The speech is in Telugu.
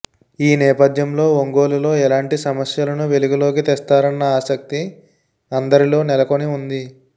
ఈ నేపథ్యంలో ఒంగోలు లో ఎలాంటి సమస్యలను వెలుగులోకి తెస్తారన్న ఆసక్తి అందరిలో నెలకొని ఉంది